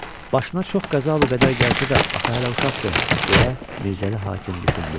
Başına çox qəza və qədər gəlsə də, axı hələ uşaqdır, deyə Mirzəli hakim düşündü.